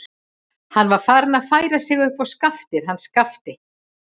Hann var farinn að færa sig upp á skaftið hann Skapti.